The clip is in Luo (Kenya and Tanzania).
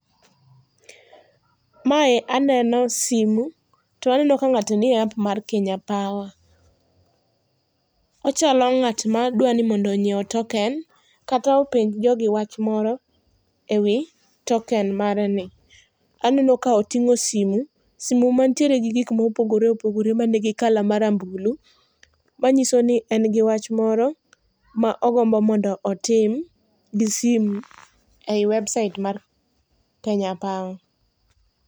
Mae aneno simu to aneno ka ng'ato nie app mar Kenya Power. Ochalo ng'at ma dwani mondo nyiew token, kata openj jogi wach moro ewi token mareni. Aneno ka oting'o simu, simu mantiere gi gik mopogore opogore manigi colour marambulu. Manyiso ni en gi wach moro, ma ogombo mondo otim gi simu ei website mar Kenya Power.